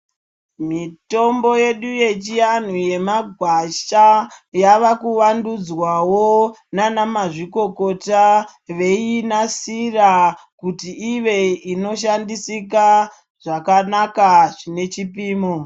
Mitombo yedu yechiantu yemagwasha yava kuvadhudzwawo ngana mazvikokota veinasira kuti Ive inoshandisika zvakanaka zvine chipimo.